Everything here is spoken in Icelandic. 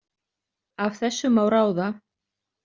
Af þessu má ráða.